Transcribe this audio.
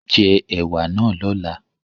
Jẹ ẹ̀wà náà lọ́la